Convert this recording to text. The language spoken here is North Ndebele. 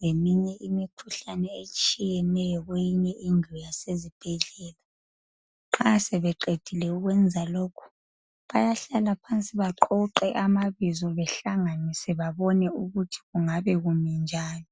leminye imikhuhlane etshiyeneyo, kwenye indlu yasezibhedlela. Nxa sebeqedile ukwenza lokhu. Bayahlala phansi, baqoqe amabizo, behlanganise, babone ukuthi kungabe kumi njani.